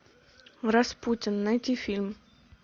распутин найти фильм